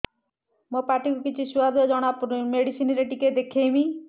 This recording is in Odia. ମୋ ପାଟି କୁ କିଛି ସୁଆଦ ଜଣାପଡ଼ୁନି ମେଡିସିନ ରେ ଟିକେ ଦେଖେଇମି